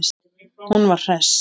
Hún var hress.